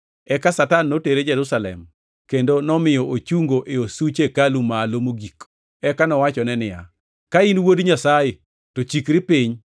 Eka Satan notere Jerusalem kendo nomiyo ochungo e osuch hekalu malo mogik. Eka nowachone niya, “Ka in Wuod Nyasaye to chikri piny.